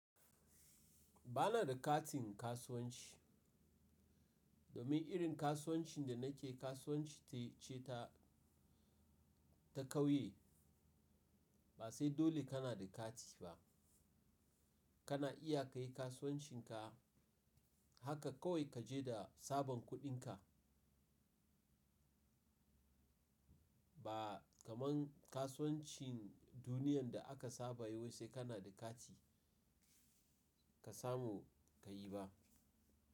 Ba na da katin kasuwanci domin irin kasuwancin da na ke kasuwanci ce ta, ta kauye. Ba sai dole ka na da kati ba. Ka na iya kai kasuwancin ka haka kawai ka je da sabon kuɗin ka. Ba kaman kasuwancin duniyan da aka saba yau sai ka na da kati ka samu ka yi ba.